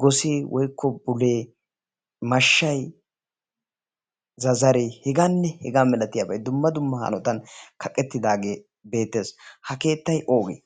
gosee woykko bulee mashshay zazaree hegaanne hegaa milatiyaabay dumma dumma haanotan kaqettidaageebeetees ha keetta oogee?